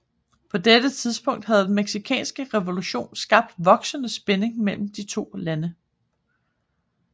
På dette tidspunkt havde den Mexicanske revolution skabt voksende spænding mellem de to lande